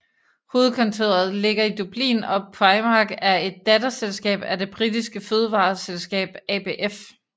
Hovedkontoret ligger i Dublin og Primark er et datterselskab af det britiske fødevareselskab ABF